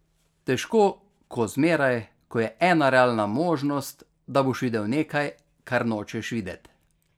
Težko ko zmeraj, ko je ena realna možnost, da boš videl nekaj, kar nočeš videt.